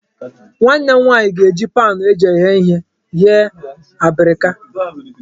Nwanne m nwaanyị ga-eji paanụ eji eghe ihe ghee abrika